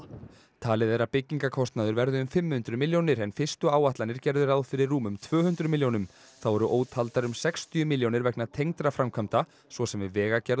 talið er að byggingarkostnaður verði um fimm hundruð milljónir en fyrstu áætlanir gerðu ráð fyrir rúmum tvö hundruð milljónum þá eru ótaldar um sextíu milljónir vegna tengdra framkvæmda svo sem við vegagerð